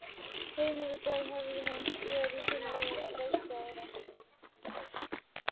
Heima við bæ hefði hún verið tilvalin leikstofa.